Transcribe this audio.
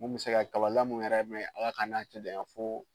Mun bɛ se ka kabalamu yɛrɛ mɛn Ala ka an n'a cɛ janya